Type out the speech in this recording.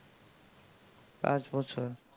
আজ বছর